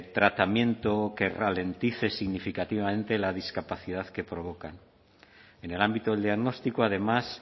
tratamiento que ralentice significativamente la discapacidad que provocan en el ámbito del diagnóstico además